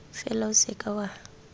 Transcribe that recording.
fela o se ka wa